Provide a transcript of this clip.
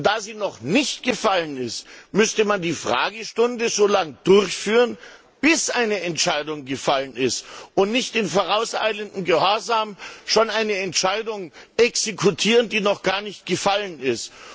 Und da sie noch nicht gefallen ist, müsste man die Fragestunde so lange durchführen, bis eine Entscheidung gefallen ist, und nicht in vorauseilendem Gehorsam schon eine Entscheidung exekutieren, die noch gar nicht gefallen ist.